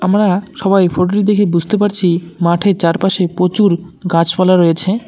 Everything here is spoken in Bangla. আমরা সবাই এই ফোটো -টি দেখে বুঝতে পারছি মাঠের চারপাশে প্রচুর গাছপালা রয়েছে।